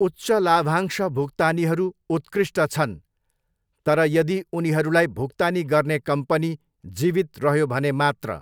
उच्च लाभांश भुक्तानीहरू उत्कृष्ट छन्, तर यदि उनीहरूलाई भुक्तानी गर्ने कम्पनी जीवित रह्यो भने मात्र।